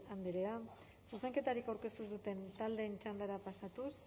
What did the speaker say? andrea zuzenketarik aurkeztu duten taldeen txandara pasatuz